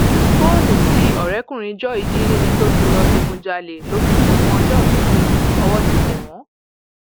fóònù tí ọrẹkùnrin joy jí níbi tí lọọ digunjalè ló fi ṣẹbùn ọjọòbí fún un ọwọ ti tẹ wọn